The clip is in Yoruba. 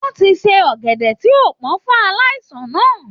Wọ́n ti se ọ̀gẹ̀dẹ̀ tí ò pọ́n fún aláìsàn náà